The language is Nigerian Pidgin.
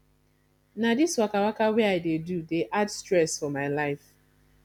na dis wakawaka wey i dey do dey add stress for my life